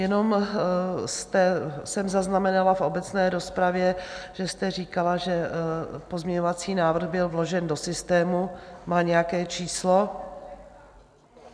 Jenom jsem zaznamenala v obecné rozpravě, že jste říkala, že pozměňovací návrh byl vložen do systému, má nějaké číslo?